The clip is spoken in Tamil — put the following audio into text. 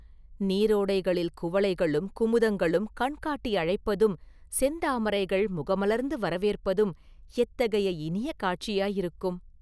நீரோடைகளில் குவளைகளும் குமுதங்களும் கண்காட்டி அழைப்பதும் செந்தாமரைகள் முகமலர்ந்து வரவேற்பதும் எத்தகைய இனிய காட்சியாயிருக்கும்?